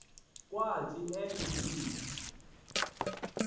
kwathi en v